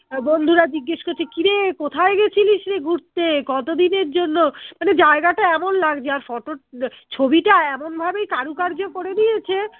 বন্ধুরা জিজ্ঞেস করছে কি রে কোথায় গেছিলিসরে ঘুরতে কতদিনের জন্য মানে জায়গাটা এমন লাগছে আর photo র আহ ছবিটা এমনভাবেই কারুকার্য করে নিয়েছে